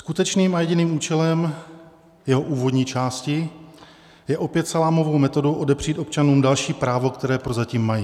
Skutečným a jediným účelem jeho úvodní části je opět salámovou metodou odepřít občanům další právo, které prozatím mají.